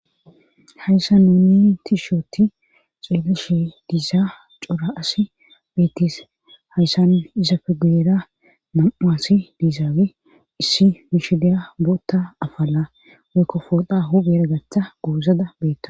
hayssa nuuni tisho otti xeeleshe diizaa cora asi beettis hayssan izafe gu7era mam7a asi diizaawe issi mishideya bootta afala waykkofooda hugera gaththa goozada beetta